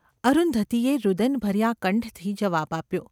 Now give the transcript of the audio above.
’ અરુંધતીએ રુદનભર્યા કંઠથી જવાબ આપ્યો.